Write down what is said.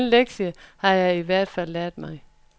Den lektie har jeg i hvert fald lært mig.